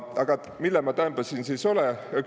Aga mille ma täämbä siin sõs olõ?